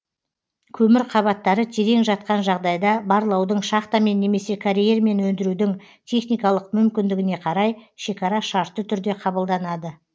көмір қабаттары терең жатқан жағдайда барлаудың шахтамен немесе карьермен өндірудің техникалық мүмкіндігіне қарай шекара шартты түрде кабылданады